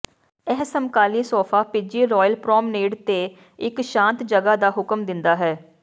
ਇਹ ਸਮਕਾਲੀ ਸੋਫਾ ਭਿੱਜੀ ਰੌਇਲ ਪ੍ਰੌਮਨੇਡ ਤੇ ਇੱਕ ਸ਼ਾਂਤ ਜਗ੍ਹਾ ਦਾ ਹੁਕਮ ਦਿੰਦਾ ਹੈ